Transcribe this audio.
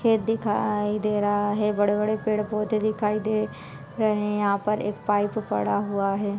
खेत दिखाई दे रहा है बड़े बड़े पेड़ पौधे दिखाई दे रहे है यहाँ पर एक पाइप पड़ा हुआ हैं।